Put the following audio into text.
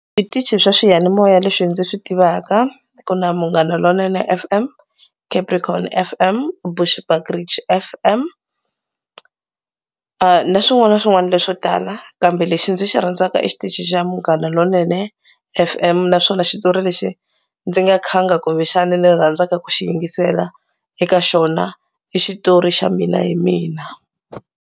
Switichi swa swiyanimoya leswi ndzi swi tivaka ku na Munghana Lonene F_M, Capricorn F_M, Bushbridge F_M na swin'wana na swin'wana leswo tala kambe lexi ndzi xi rhandzaka i xitichi xa Munghana Lonene F_M naswona xitori lexi ndzi nga khanga kumbexana ni rhandzaka ku xi yingisela eka xona i xitori xa Mina Hi Mina.